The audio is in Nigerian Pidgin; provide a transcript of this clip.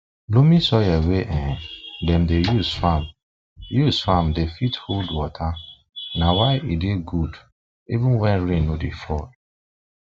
loamy soil wey um dem dey use farm use farm dey fit hold water na why e dey good even when rain no dey fall